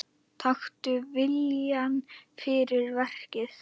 Taktu viljann fyrir verkið.